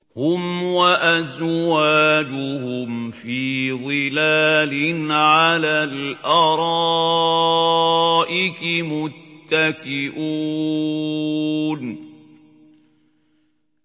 هُمْ وَأَزْوَاجُهُمْ فِي ظِلَالٍ عَلَى الْأَرَائِكِ مُتَّكِئُونَ